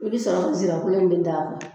I bɛ sɔrɔ sirakolo in de da kan.